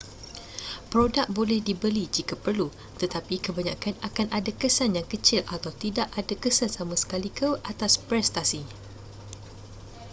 produk boleh dibeli jika perlu tetapi kebanyakan akan ada kesan yang kecil atau tidak ada kesan sama sekali ke atas prestasi